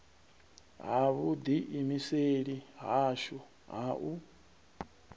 ha vhuḓiimiseli hashu ha u